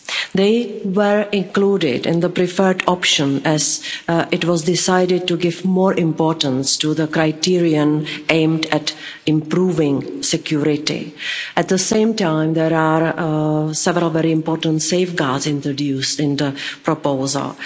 They were included in the preferred option as it was decided to give more importance to the criterion aimed at improving security. At the same time, there are several very important safeguards introduced in the proposal.